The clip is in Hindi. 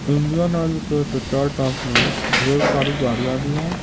इंडियन ऑइल के पित्तरोल पंप मेंढेर सारी गाड़ियांभी हैं।